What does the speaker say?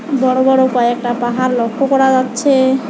বড় বড় কয়েকটা পাহাড় লক্ষ করা যাচ্ছে।